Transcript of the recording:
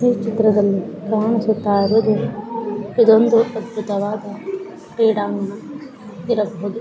ಈ ಚಿತ್ರದಲ್ಲಿ ಕಾಣಿಸುತ್ತಾ ಇರುವುದು ಇದೊಂದು ಅದ್ಭುತವಾದ ಕ್ರೀಡಾಂಗಣ ಇರಬಹುದು.